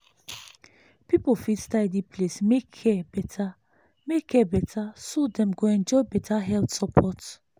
people fit tidy place make care better make care better so dem go enjoy better health support.